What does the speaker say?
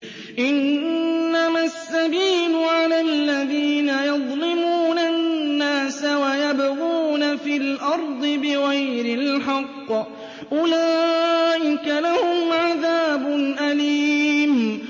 إِنَّمَا السَّبِيلُ عَلَى الَّذِينَ يَظْلِمُونَ النَّاسَ وَيَبْغُونَ فِي الْأَرْضِ بِغَيْرِ الْحَقِّ ۚ أُولَٰئِكَ لَهُمْ عَذَابٌ أَلِيمٌ